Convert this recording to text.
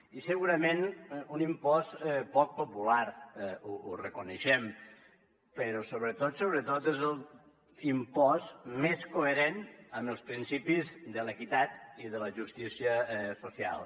i segurament un impost poc popular ho reconeixem però sobretot és l’impost més coherent amb els principis de l’equitat i de la justícia social